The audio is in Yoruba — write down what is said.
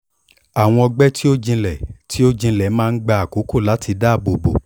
awọn ọgbẹ ti o jinlẹ ti o jinlẹ maa n gba akoko lati daabobo